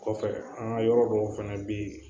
Kɔfɛ an ga yɔrɔ dɔw fɛnɛ be yen